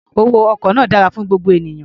Owó ọkọ̀ náà dára fún gbogbo ènìyàn.